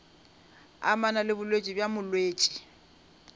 amana le bolwetši bja molwetši